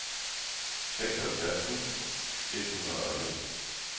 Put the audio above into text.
seksoghalvfjerds tusind et hundrede og en